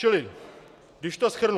Čili když to shrnu.